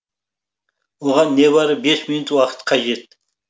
оған небары бес минут уақыт қажет